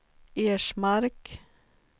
Ersmark